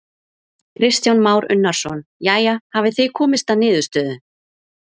Kristján Már Unnarsson: Jæja, hafið þið komist að niðurstöðu?